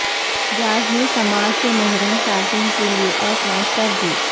jazz نے سماعت سے محروم صارفین کیلئے ایپ لانچ کر دی